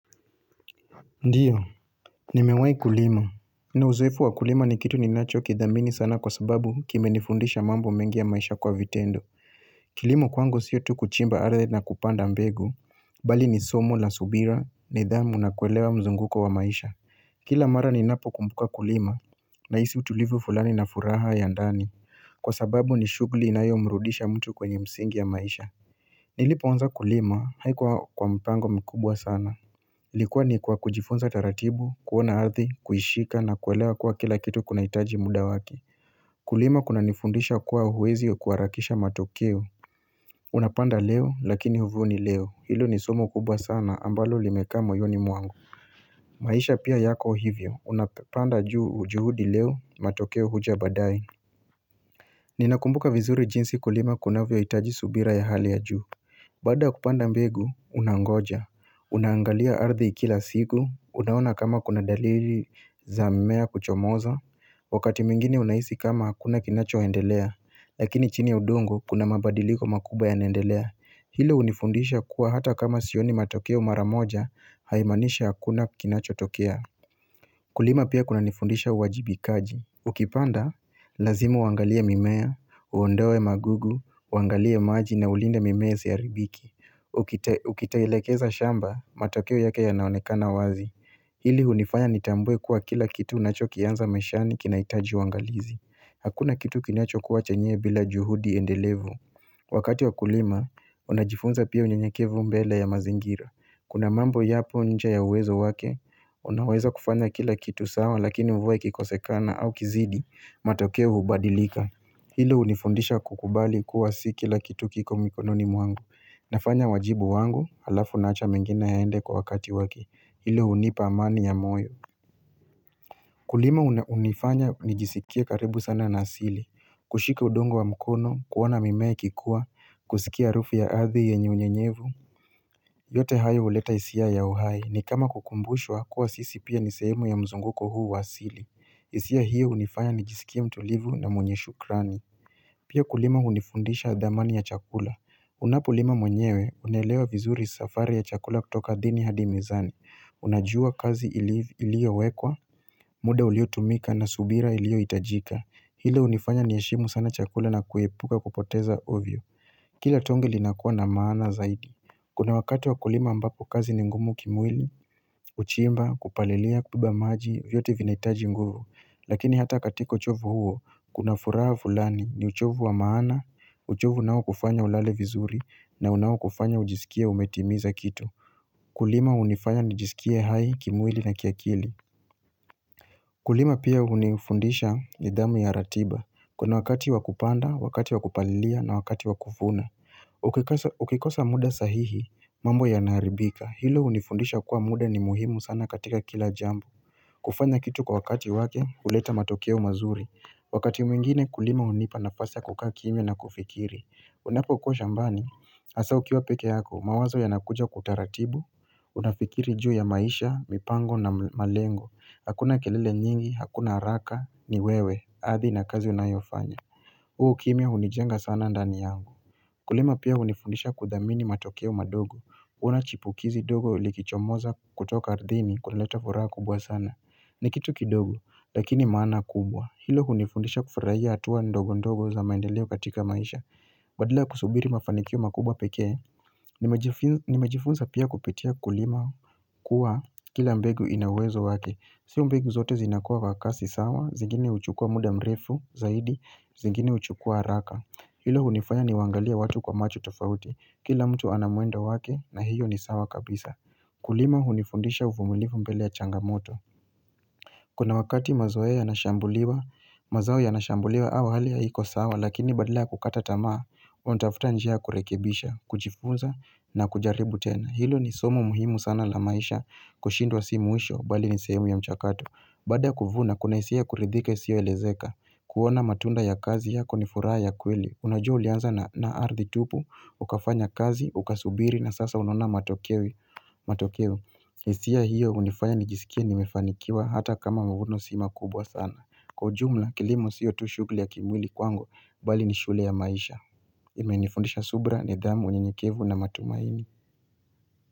Ndiyo, nimewai kulima. Nina uzoefu wa kulima ni kitu ninacho kidhamini sana kwa sababu kimenifundisha mambo mengi ya maisha kwa vitendo. Kilimo kwangu sio tu kuchimba aradhi na kupanda mbegu, bali ni somo la subira nidhamu na kuelewa mzunguko wa maisha. Kila mara ninapo kumbuka kulima, nahisi utulivu fulani na furaha ya ndani. Kwa sababu ni shughuli inayo mrudisha mtu kwenye msingi ya maisha. Nilipoanza kulima, haikuwa kwa mpango mkubwa sana. Ilikuwa ni kwa kujifunza taratibu, kuona ardhi, kuishika na kuelewa kuwa kila kitu kuna hitaji muda waki Kulima kunanifundisha kuwa huwezi kuharakisha matokeo Unapanda leo lakini huvuni leo, hilo ni somo kubwa sana ambalo limekaa moyoni mwangu maisha pia yako hivyo, unapanda juu juhudi leo, matokeo huja baadaye Ninakumbuka vizuri jinsi kulima kunavyo hitaji subira ya hali ya juu Baada ya kupanda mbegu unangoja unaangalia ardhi ikila siku unaona kama kuna dalili za mimea kuchomoza Wakati mwingine unahisi kama hakuna kinacho endelea lakini chini udongo kuna mabadiliko makuba yanaendelea hilo hunifundisha kuwa hata kama sioni matokeo mara moja haimaanisha hakuna kinacho tokea Kulima pia kunanifundisha uwajibikaji Ukipanda, lazimu uangalie mimea, uondoe magugu, uangalie maji na ulinde mimea isiharibike Ukitelekeza shamba, matokeo yake yanaonekana wazi Hili hunifanya nitambue kuwa kila kitu unachokianza maishani kinahitaji uangalizi Hakuna kitu kinacho kua chenyewe bila juhudi endelevu Wakati wa kulima, unajifunza pia unyenyekevu mbele ya mazingira Kuna mambo yapo nje ya uwezo wake Unaweza kufanya kila kitu sawa lakini mvua ikikosekana au kizidi matokeo hubadilika Hilo hunifundisha kukubali kuwa si kila kitu kiko mikononi mwangu Nafanya wajibu wangu halafu naacha mengine yaende kwa wakati waki Hilo hunipa amani ya moyo Kulima hunifanya nijisikie karibu sana na asili kushika udongo wa mkono, kuona mimea ikikua, kusikia harufu ya arthi yenye unyenyevu yote hayo huleta hisia ya uhai ni kama kukumbushwa kuwa sisi pia ni sehemu ya mzunguko huu wa asili. Hisia hiyo hunifanya nijisikie mtulivu na mwenye shukrani. Pia kulima hunifundisha dhamani ya chakula. Unapo lima mwenyewe unaelewa vizuri safari ya chakula kutoka ardhini hadi mezani. Unajua kazi iliyo wekwa, muda uliyo tumika na subira iliyo hitajika. Ile hunifanya niheshimu sana chakula na kuepuka kupoteza ovyo. Kila tonge linakuwa na maana zaidi. Kuna wakati wa kulima ambapo kazi ni ngumu kimwili, kuchimba, kupalilia, kubeba maji, vyote vinahitaji nguvu. Lakini hata katiko uchovu huo, kuna furaha fulani ni uchovu wa maana, uchovu unao kufanya ulale vizuri na unao kufanya ujisikie umetimiza kitu. Kulima hunifanya nijisikie hai kimwili na kiakili. Kulima pia hunifundisha nidhamu ya ratiba. Kuna wakati wa kupanda, wakati wa kupalilia na wakati wa kuvuna. Ukikosa muda sahihi, mambo yanaharibika. Hilo hunifundisha kuwa muda ni muhimu sana katika kila jambo kufanya kitu kwa wakati wake huleta matokeo mazuri Wakati mwingine kulima hunipa nafasi ya kukaa kimya na kufikiri Unapo kuwa shambani hasa ukiwa peke yako mawazo yanakuja kwa utaratibu Unafikiri juu ya maisha, mipango na malengo Hakuna kelele nyingi, hakuna haraka, ni wewe Ardhi na kazi unayofanya huu ukimya hunijenga sana ndani yangu Kulima pia hunifundisha kudhamini matokeo madogo kuona chipukizi dogo likichomoza kutoka ardhini kuna leta furaha kubwa sana ni kitu kidogo lakini maana kubwa Hilo hunifundisha kufurahia hatuwa ndogo ndogo za maendeleo katika maisha Badala ya kusubiri mafanikio makubwa pekee Nimejifunza pia kupitia kulima kuwa kila mbegu ina uwezo wake Sio mbegu zote zinakua kwa kasi sawa zingine huchukua muda mrefu zaidi zingine huchukua haraka Hilo hunifanya niwaangalie watu kwa macho tofauti Kila mtu ana mwendo wake na hiyo ni sawa kabisa Kulima hunifundisha uvumilifu mbele ya changamoto Kuna wakati mazao yanashambuliwa mazao yanashambuliwa au hali haiko sawa Lakini badala kukata tamaa unatafuta njia ya kurekebisha kujifunza na kujaribu tena Hilo ni somo muhimu sana la maisha kushindwa si mwisho bali ni sehemu ya mchakatu Baada kuvuna kuna hisia kuridhika isiyo elezeka kuona matunda ya kazi yako ni furaha ya kweli Unajua ulianza na ardhi tupu ukafanya kazi, ukasubiri na sasa unona matokeo hisia hiyo hunifanya nijisikie nimefanikiwa hata kama mavuno si makubwa sana Kwa ujumla kilimo sio tu shughuli ya kimwili kwangu, bali ni shule ya maisha imenifundisha subira nidhamu unyenyekevu na matumaini.